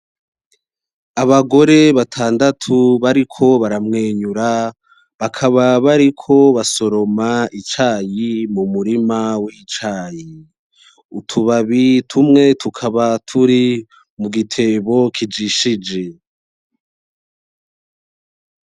Abagore batandatu bariko baramwenyura bakaba bariko basoroma icayi mu murima wicayi utubabi tumwe tukaba turi mu gitebo kijishije.